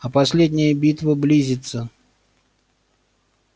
а последняя битва близится